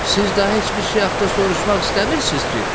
Siz daha heç bir şey haqqında soruşmaq istəmirsiz ki?